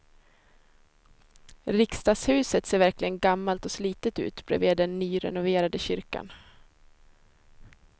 Riksdagshuset ser verkligen gammalt och slitet ut bredvid den nyrenoverade kyrkan.